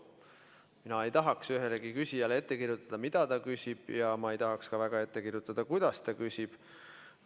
Mina ei tahaks ühelegi küsijale ette kirjutada, mida ta küsib, ja ma ei tahaks ka ette kirjutada, kuidas ta küsib.